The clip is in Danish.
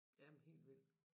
Jamen hel vild